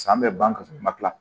San bɛ ban ka sɔrɔ i ma tila